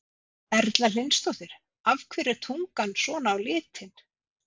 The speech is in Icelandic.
Erla Hlynsdóttir: Af hverju er tungan svona á litinn?